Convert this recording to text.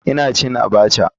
Ina cin abacha.